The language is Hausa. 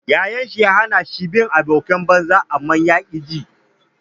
Yayan shi ya hana shi bin abokan banza amma ya ƙi ji.